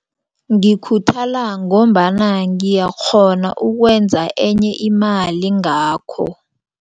Ngikhuthala ngombana ngiyakghona ukwenza enye imali ngakho.